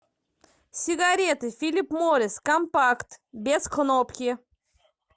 сигареты филип моррис компакт без кнопки